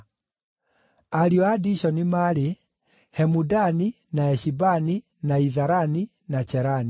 Ariũ a Dishoni maarĩ: Hemudani, na Eshibani, na Itharani, na Cherani.